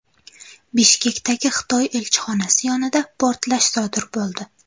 Bishkekdagi Xitoy elchixonasi yonida portlash sodir bo‘ldi.